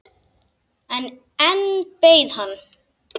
En enn beið hann.